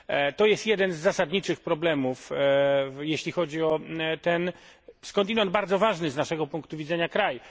To jest jeden z zasadniczych problemów, jeśli chodzi o ten skądinąd bardzo ważny z naszego punktu widzenia kraj.